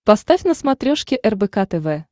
поставь на смотрешке рбк тв